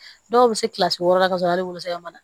Dɔw bɛ se kilasi wɔɔrɔ la ka sɔrɔ hali wolosɛbɛn ma